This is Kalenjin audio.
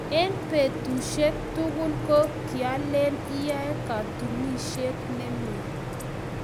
eng' petushek tugul ko kialen iyae katunishet nemie